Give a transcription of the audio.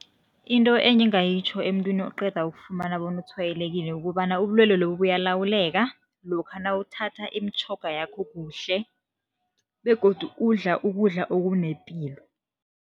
Into engingayitjho emuntwini oqeda ukufumana bona utshwayelekile kukobana ubulwelwe lobu bayalawuleka lokha nawuthatha imitjhoga yakho kuhle begodu udla ukudla okunepilo.